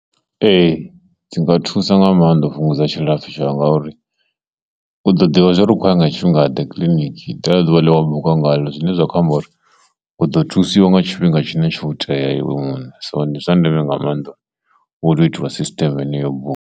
Ee, dzi nga thusa nga maanḓa u fhungudza tshilapfhi tshau ngauri u ḓo ḓivha zwa uri u khou ya nga tshifhinga ḓe kiḽiniki ḽeḽo ḓuvha ḽine wa buka ngalo zwine zwa khou amba uri u ḓo thusiwa nga tshifhinga tshine tsho tea iwe muṋe, so ndi zwa ndeme nga maanḓa uri u tea u itiwa sisiteme heneyo buka.